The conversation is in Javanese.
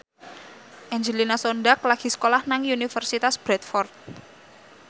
Angelina Sondakh lagi sekolah nang Universitas Bradford